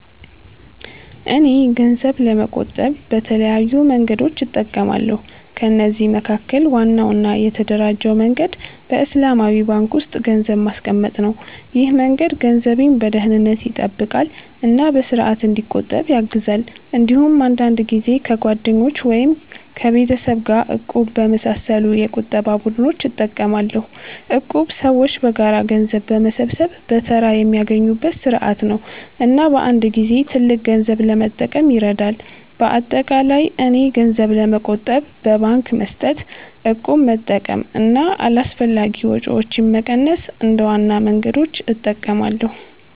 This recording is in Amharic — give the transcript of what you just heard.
እኔ ገንዘብ ለመቆጠብ በተለያዩ መንገዶች እጠቀማለሁ። ከነዚህ መካከል ዋናው እና የተደራጀው መንገድ በእስላማዊ ባንክ ውስጥ ገንዘብ ማስቀመጥ ነው። ይህ መንገድ ገንዘቤን በደህንነት ይጠብቃል እና በስርዓት እንዲቆጠብ ያግዛል። እንዲሁም አንዳንድ ጊዜ ከጓደኞች ወይም ከቤተሰብ ጋር “እቁብ” በመሳሰሉ የቁጠባ ቡድኖች እጠቀማለሁ። እቁብ ሰዎች በጋራ ገንዘብ በመሰብሰብ በተራ የሚያገኙበት ስርዓት ነው እና በአንድ ጊዜ ትልቅ ገንዘብ ለመጠቀም ይረዳል። በአጠቃላይ እኔ ገንዘብ ለመቆጠብ በባንክ መስጠት፣ እቁብ መጠቀም እና አላስፈላጊ ወጪዎችን መቀነስ እንደ ዋና መንገዶች እጠቀማለሁ።